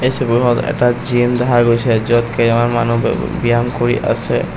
ছবিখনত এটা জিম দেখা গৈছে য'ত কেইবা মানুহ ব্যায়াম কৰি আছে।